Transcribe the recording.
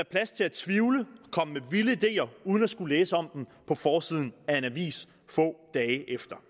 plads til at tvivle komme med vilde ideer uden at skulle læse om dem på forsiden af en avis få dage efter